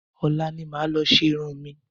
Ọ̀la ni màá lọ ṣe irun mi